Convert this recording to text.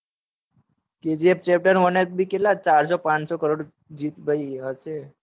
kgf chapter one એચ બી કેટલા ચારસો પાંચસો કરોડ જીત ભઈ હશે